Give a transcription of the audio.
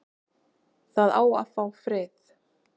Það á að fá frið